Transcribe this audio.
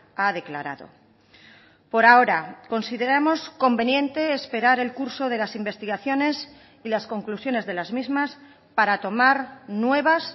ha declarado por ahora consideramos conveniente esperar el curso de las investigaciones y las conclusiones de las mismas para tomar nuevas